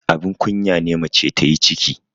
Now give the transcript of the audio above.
abin kunya ne mace ta yi ciki